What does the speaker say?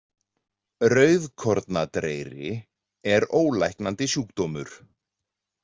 Rauðkornadreyri er ólæknandi sjúkdómur.